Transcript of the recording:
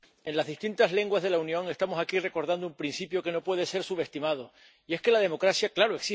Señor presidente, en las distintas lenguas de la Unión estamos aquí recordando un principio que no puede ser subestimado y es que la democracia —¡claro!—